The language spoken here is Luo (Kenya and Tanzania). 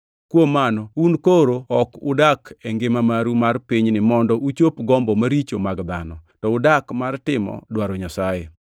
Kuom mano, un koro ok udak e ngima maru mar pinyni mondo uchop gombo maricho mag dhano, to udak mar timo dwaro Nyasaye.